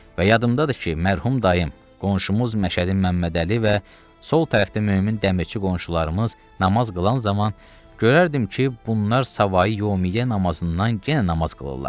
Və yadımdadır ki, mərhum dayım, qonşumuz Məşədi Məmmədəli və sol tərəfdə mömin dəmirçi qonşularımız namaz qılan zaman görərdim ki, bunlar savayi yəmiyə namazından yenə namaz qılırlar.